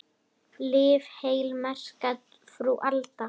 Lif heil, merka frú Alda.